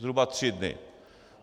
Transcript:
Zhruba tři dny.